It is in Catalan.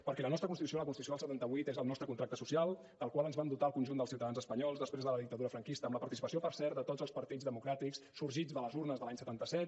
perquè la nostra constitució la constitució del setanta vuit és el nostre contracte social del qual ens vam dotar el conjunt dels ciutadans espanyols després de la dictadura franquista amb la participació per cert de tots els partits democràtics sorgits de les urnes de l’any setanta set